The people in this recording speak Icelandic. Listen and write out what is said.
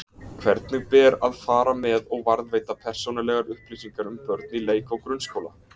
Hvernig ber að fara með og varðveita persónulegar upplýsingar um börn í leik- og grunnskóla?